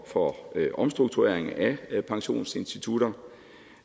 for omstrukturering af pensionsinstitutter